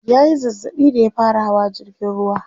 ya Yi zazzaɓi da ya fara Hawa jirgin ruwa